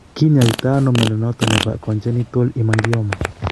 Kinyoito ano mnyondo noton nebo congenital hemangioma